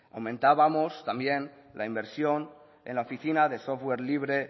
aumentábamos también la inversión en la oficina de software libre